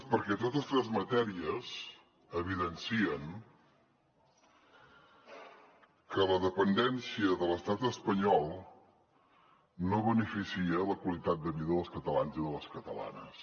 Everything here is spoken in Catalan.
perquè totes tres matèries evidencien que la dependència de l’estat espanyol no beneficia la qualitat de vida dels catalans i de les catalanes